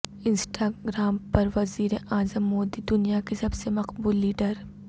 Instagram پر وزیراعظم مودی دنیا کے سب سے مقبول لیڈر